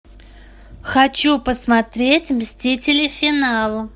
хочу посмотреть мстители финал